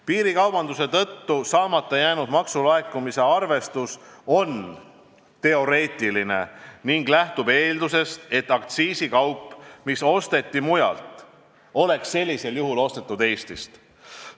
" Piirikaubanduse tõttu saamata jäänud maksulaekumise arvestus on teoreetiline ning lähtub eeldusest, et aktsiisikaup, mis osteti mujalt, oleks sellisel juhul ostetud Eestist.